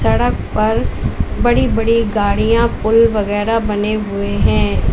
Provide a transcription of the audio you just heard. सड़क पर बड़ी बड़ी गाड़ियां पुल वगैरा बने हुए हैं।